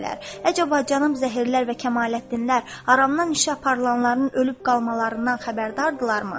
Əcəb bacanam zəhərlər və Kamaləddinlər aramdan işə aparılanların ölüb qalmalarından xəbərdardırlarmı?